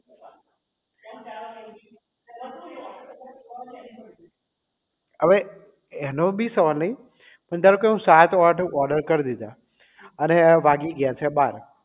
અવે એનો બી સવાલ નહીં પણ ધારો કે મેં સાત આઠ order કરી દીધા અને વાગી ગયા છે બાર